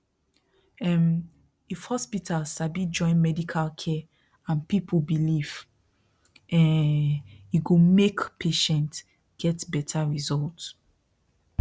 um if hospital sabi join medical care and people belief um e go make patient get better result